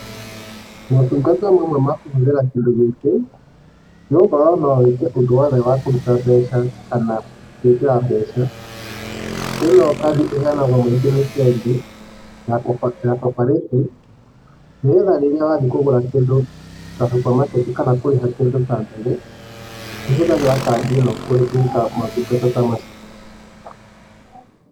Motungata mamwe makũhũthĩra kĩndũ gĩkĩ, nĩgũkorwo no wĩke ũndũ wothe wakũruta mbeca kana gũĩkĩra mbeca. Ino kandi ĩheanagwo nĩngĩ bengi ya Co-operative nĩgetha rĩrĩa wathiĩ kũgũra kĩndũ ta supermarket kana kũrĩha kĩndũ ta ndege, nĩũhũthagĩra kandi ĩno gwĩka maũtungata ta macio.